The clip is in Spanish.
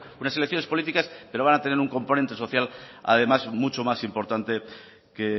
unas elecciones políticas que no van a tener un componente social además mucho más importante que